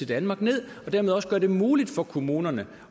danmark ned og dermed også gøre det muligt for kommunerne